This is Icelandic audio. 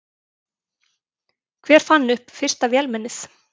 Hver fann upp fyrsta vélmennið?